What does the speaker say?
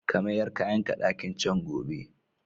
Ka mayar kayanka ɗakin can gobe!